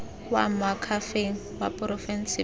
kwa moakhaefeng wa porofense pele